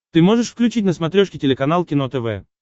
ты можешь включить на смотрешке телеканал кино тв